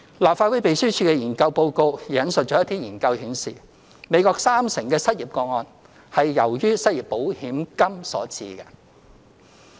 立法會秘書處研究報告也引述一些研究顯示，美國三成失業個案是由於失業保險金所致。